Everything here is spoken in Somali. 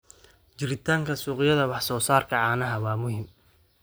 Jiritaanka suuqyada wax soo saarka caanaha waa muhiim.